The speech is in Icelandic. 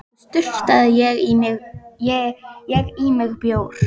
Svo sturtaði ég í mig bjór.